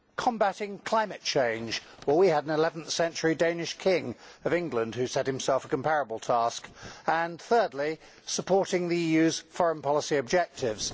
combating climate change well, we had an 11th century Danish King of England who set himself a comparable task and, thirdly, supporting the EU's foreign policy objectives.